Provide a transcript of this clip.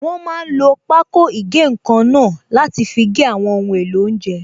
Wọ́n máa n lo pákó ìgé-nǹkan náà láti fi gé àwọn ohun èlò oúnjẹ